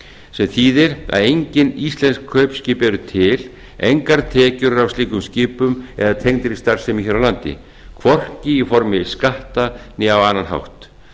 sem þýðir að engin íslensk kaupskip eru til engar tekjur eru af slíkum skipum eða tengdri starfsemi hér á landi hvorki í formi skatta né á annan hátt